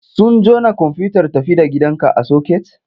Sun jona komfuyutar tafi da gidanka a soket?